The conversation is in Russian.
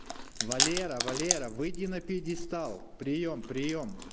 валера валера выйди на пьедестал приём приём